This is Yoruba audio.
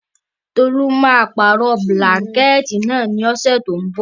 Tolú máa pàrọ̀ bílánkẹ̀tì náà lọ́sẹ̀ tínbọ̀.